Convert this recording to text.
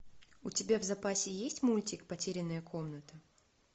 у тебя в запасе есть мультик потерянная комната